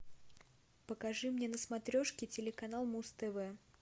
покажи мне на смотрешке телеканал муз тв